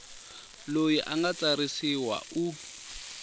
loyi a nga tsarisiwa u